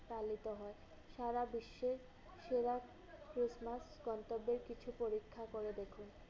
পালিত হয়। সারা বিশ্বে সে রাত Christmas গন্তব্যের কিছু পরীক্ষা করে দেখুন।